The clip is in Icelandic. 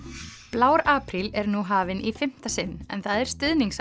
blár apríl er nú hafinn í fimmta sinn en það er